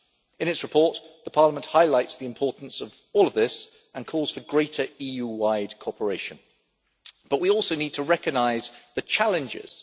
In its report, Parliament highlights the importance of all of this and calls for greater EU wide cooperation, but we also need to recognise the challenges.